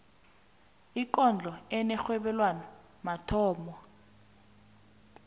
ikondlo enerhobelwano mathomo